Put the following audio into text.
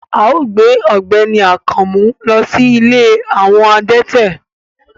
Ao gbe ọgbẹni Akanmu lo si ìlé awọ adẹtẹ